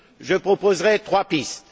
Je proposerai trois pistes.